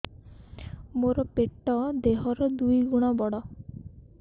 ମୋର ପେଟ ଦେହ ର ଦୁଇ ଗୁଣ ବଡ